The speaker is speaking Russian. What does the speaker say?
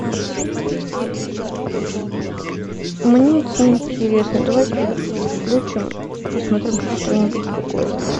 мне это не интересно давай переключим посмотрим что нибудь другое